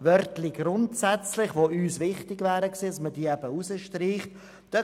Uns wäre es jedoch wichtig gewesen, dass man dies eben streicht.